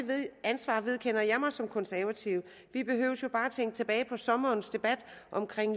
ansvar vedkender jeg mig som konservativ vi behøver jo bare tænke tilbage på sommerens debat om